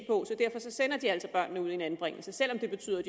og derfor sender de altså børnene ud i en anbringelse selv om det betyder at